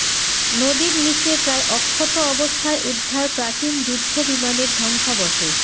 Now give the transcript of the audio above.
নদীর নীচে প্রায় অক্ষত অবস্থায় উদ্ধার প্রাচীন যুদ্ধবিমানের ধ্বংসাবশেষ